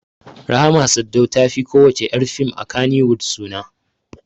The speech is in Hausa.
Rahma Sadau ta fi ko wacce ƴar fim a Kannywood suna